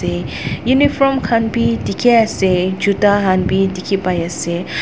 Eh uniform khan bhi dekhey ase juta khan bhi dekhey pai ase--